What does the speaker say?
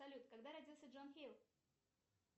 салют когда родился джон хилл